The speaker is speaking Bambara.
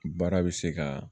Baara bɛ se ka